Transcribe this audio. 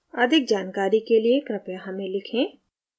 अधिक जानकारी के लिए कृपया हमें लिखें